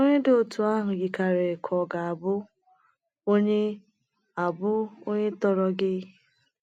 Onye dị otú ahụ yikarịrị ka ọ ga - abụ onye - abụ onye tọrọ gị.